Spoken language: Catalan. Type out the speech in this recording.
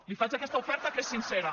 li faig aquesta oferta que és sincera